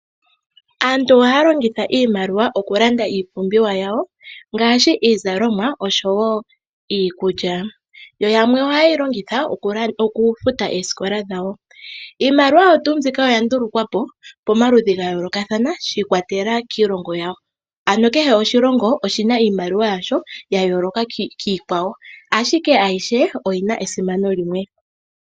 Aantu ohaya longitha iimaliwa okulanda iipumbiwa yawo ngaashi iizalomwa oshowo iikulya, yo yamwe ohaye yi longitha okufuta eesikola dhawo. Iimaliwa oyo tuu mbyika oya ndulukwa po pamaludhi ga yoolokathana shi ikwatelela kiilonga yawo ano kehe oshilongo oshina iimaliwa yasho ya yooloka kiikwawo ashike ayihe oyina esimano limwe .